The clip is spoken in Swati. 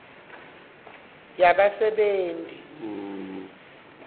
yabasebenti